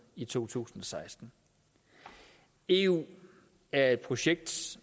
i to tusind og seksten eu er et projekt